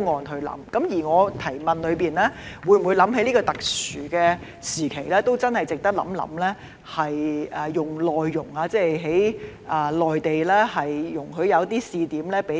正如我在主體質詢中提到，在這特殊時期，政府值得認真考慮輸入內傭，容許在內地設立試點，讓內